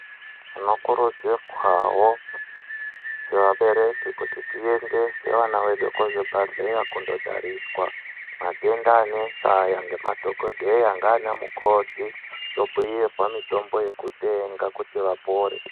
Tinokurudzirwawo sevabereki kuti tiendese vana vedu kuzvibhehleya kundotariswa matenda anesa aya ngemadhokodheya nanamukoti tobhuyirwa mitombo yekutenga kuti vapore.